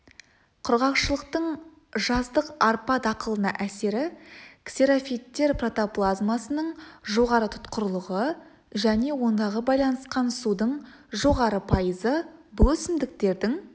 құрғақшылықтың жаздық арпа дақылына әсері ксерофиттер протоплазмасының жоғары тұтқырлығы және ондағы байланысқан судың жоғары пайызы бұл өсімдіктердің